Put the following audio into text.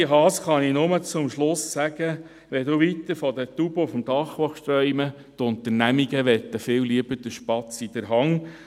Adrian Haas kann ich zum Schluss nur sagen, wenn er weiterhin von den Tauben auf dem Dach träumen wolle, könne er dies tun, doch die Unternehmen wollten viel lieber den Spatz in der Hand.